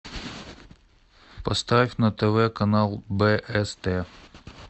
поставь на тв канал бст